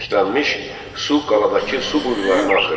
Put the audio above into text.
Çirklənmiş su qaladakı su quyularına axırdı.